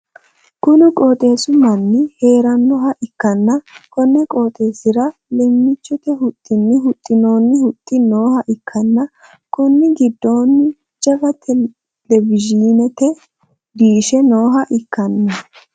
kuni qooxeessi mannu hee'rannoha ikkanna, konni qooxeessi'ra leemmichote huxxinni huxxinoonni huxxi nooha ikkanna, konni giddoonni jawa televiyiinete diishe nooha ikkanno.